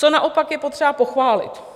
Co naopak je potřeba pochválit?